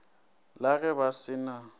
la ge ba se na